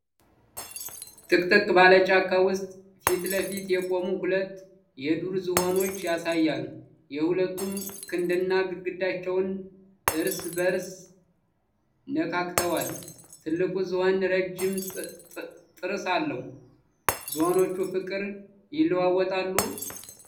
ጥቅጥቅ ባለ ጫካ ውስጥ ፊት ለፊት የቆሙ ሁለት የዱር ዝሆኖች ያሳያል። ሁለቱም ግንድና ግንዳቸውን እርስ በእርስ ነካክተዋል። ትልቁ ዝሆን የረጅም ዝሆን ጥርስ አለው። ዝሆኖቹ ፍቅር ይለዋወጣሉ?